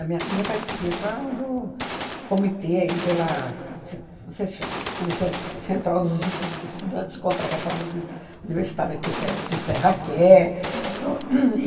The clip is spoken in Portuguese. minha filha participa do comitê aí pela se não sei se cha comicês central dos estu estudantes contra a reforma uni universitária que o Fe que o Serra quer. No